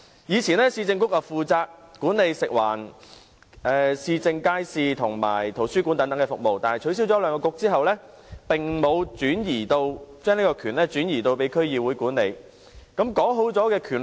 以往，市政局負責管理食物、環境、市政街市和圖書館等服務，但在兩局取消後，當局並沒有將權力轉移，由區議會負責管理。